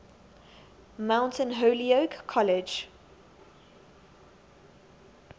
mount holyoke college